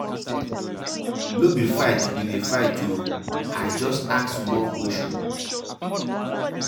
No be fight we dey fight oo, I just ask you small question.